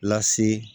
Lase